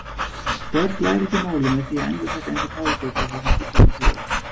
Börn læra ekki málið með því að endurtaka eins og páfagaukar það sem fullorðnir segja.